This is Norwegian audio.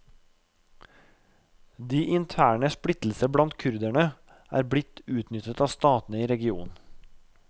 De interne splittelser blant kurderne har blitt utnyttet av statene i regionen.